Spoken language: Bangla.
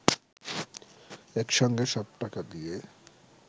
একসঙ্গে সব টাকা দিয়ে